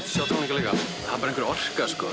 sjá tónleika líka það er einhver orka